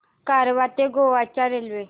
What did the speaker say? कारवार ते गोवा च्या रेल्वे